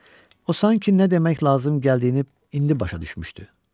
O sanki nə demək lazım gəldiyini indi başa düşmüşdü.